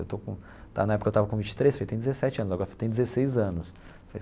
Eu estou com lá na época eu tava com vinte e três, tem dezessete anos, agora tem dezesseis anos.